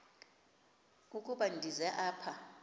ukuba ndize apha